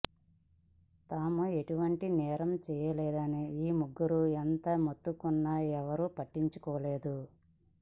తాము ఎటువంటి నేరం చేయలేదని ఈ ముగ్గురూ ఎంత మొత్తుకున్నా ఎవరూ పట్టించుకోలేదు